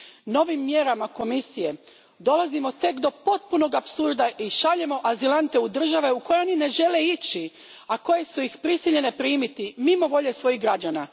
Novim mjerama Komisije dolazimo tek do potpunog apsurda i šaljemo azilante u države u koje oni ne žele ići, a koje su ih prisiljene primiti mimo volje svojih građana.